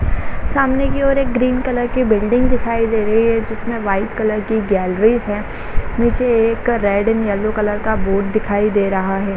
सामने की और एक ग्रीन कलर की बिल्डिंग दिखाई दे रही है जिसमें व्हाइट कलर की गैलरीज है नीचे एक रेड एंड येलो कलर का बोर्ड दिखाई दे रहा है। --